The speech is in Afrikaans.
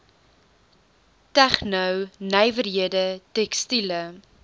tegno nywerhede tekstiele